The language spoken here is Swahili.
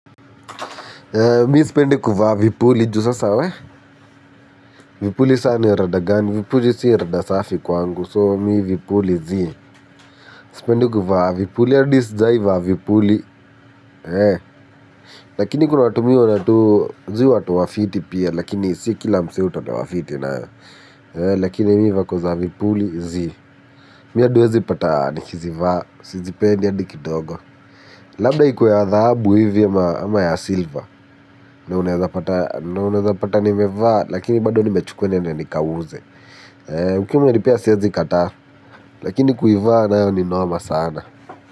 Mi sipendi kuvaa vipuli juu sasa we, vipuli saa ni ya rada gani, vipuli si rada safi kwangu so mi vipuli zii, sipendi kuvaa vipuli adi sijai vaa vipuli, lakini kuna watu mi huona tu zi watu wafiti pia lakini si kila msee hutolewa fiti nayo, eh, lakini mi vako za vipuli zii, mi adi uwezi pata nikizivaa, sizipendi adi kidogo, labda ikuwe ya dhahabu hivi ama ya silva, na unaeza pata nimevaa, lakini bado nimechukuwa niende nikauze. Ukiwa umenipea siezi kataa lakini kuivaa nayo ni noma sana.